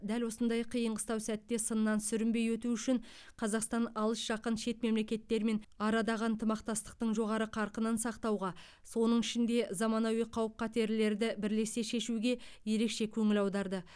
дәл осындай қиын қыстау сәтте сыннан сүрінбей өту үшін қазақстан алыс жақын шет мемлекеттермен арадағы ынтымақтастықтың жоғары қарқынын сақтауға соның ішінде заманауи қауіп қатерлерді бірлесе шешуге ерекше көңіл аударды